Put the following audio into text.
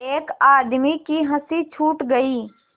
एक आदमी की हँसी छूट गई